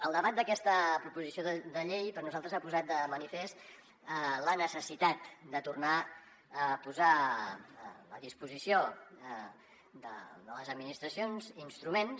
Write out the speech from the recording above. el debat d’aquesta proposició de llei per nosaltres ha posat de manifest la necessitat de tornar a posar a disposició de les administracions instruments